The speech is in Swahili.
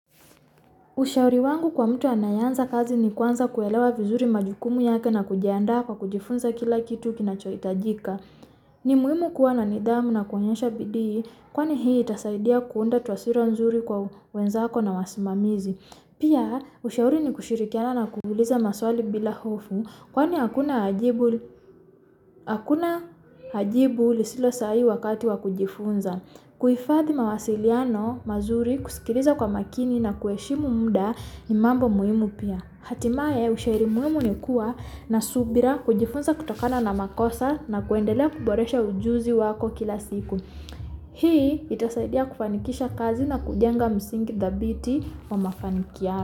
Ushauri wangu kwa mtu anayanza kazi ni kuwanza kuwelewa vizuri majukumu yake na kujiandaa kwa kujifunza kila kituki na cha itajika. Nimuimu kwa nanidamu na kuanyansha bidii, kwa ni hii itasaidia kundatuwa sila unzuri kwa wenzako na wasimamizi. Pia ushauri ni kushirikiana na kuuliza maswali bila hufu, kwa ni akuna ajibuli sila sahi wakati kujifunza. Kuifadhi mawasiliyano mazuri kusikiliza kwa makini na kueshimu muda imambo muimupia. Hatimaa ushaerimumu ni kuwa na subira kujifunza kutokana na makosa na kuendalia kuboreisha ujuzu wako kila siku. Hii itasaidia kufanikisha kazi na kudyanga msingi the beauty wama fanikiana.